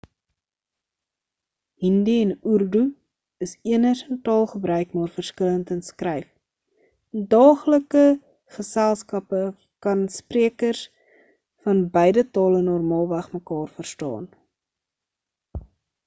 hindi en urdu is eners in taalgebruik maar verskillend in skryf in daaglike geselskappe kan sprekers van beide tale normaalweg mekaar verstaan